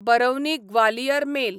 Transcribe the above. Barauni Gwalior mail